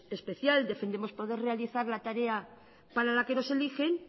especial defendemos poder realizar la tarea para la que nos eligen